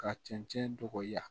Ka cɛncɛn dɔgɔya